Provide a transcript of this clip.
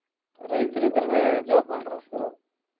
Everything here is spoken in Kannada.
ರೈತ್ರಿದ್ರೆನೆ job holders ಇರೋದ್.